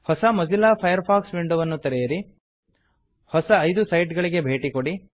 ಹೊಸ Mozilla Firefox ವಿಂಡೋವನ್ನು ತೆರೆಯಿರಿ ಹೊಸ ಐದು ಸೈಟ್ ಗಳಿಗೆ ಭೇಟಿ ಕೊಡಿ